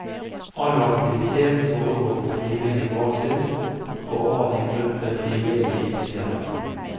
All aktivitet foregår på frivillig basis, og av en gruppe frivillige ildsjeler.